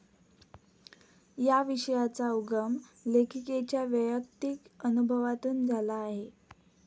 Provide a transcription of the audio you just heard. या विषयाचा उगम लेखिकेच्या वैयक्तिक अनुभवातून झाला आहे.